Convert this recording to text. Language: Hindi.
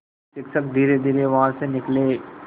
शिक्षक धीरेधीरे वहाँ से निकले